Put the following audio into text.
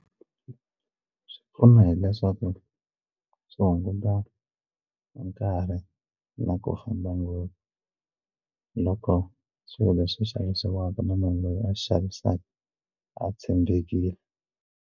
Swi pfuna hileswaku swi hunguta nkarhi na ku famba ngopfu loko swilo leswi xavisiwaka na munhu loyi a xavisaka a tshembekile.